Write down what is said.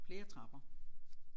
Flere trapper